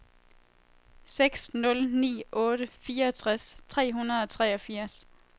seks nul ni otte fireogtres tre hundrede og treogfirs